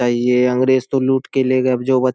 ये अंग्रेज तो लुट के ले गए अब जो ब --